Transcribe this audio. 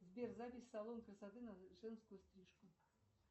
сбер запись в салон красоты на женскую стрижку